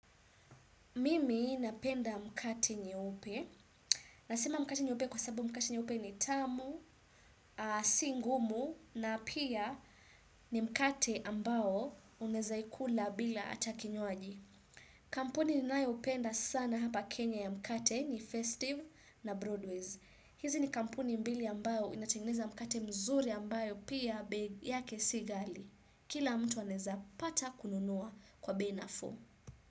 Mimi napenda mkate nyeupe. Nasema mkate nyeupe kwa sababu mkate nyeupe ni tamu, singumu na pia ni mkati ambao unezaikula hata bila kinyuaji. Kampuni ninayoiupenda sana hapa kenya ya mkate ni festive na broadways. Hizi ni kampuni mbili ambao inatingeneza mkate mzuri ambayo pia bei yake si gali. Kila mtu anezapata kununua kwa bei nafuu.